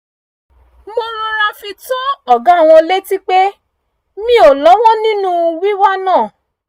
mo rọra fi tó ọ̀gá wọn létí pé mi ò lọ́wọ́ nínú wíwá náà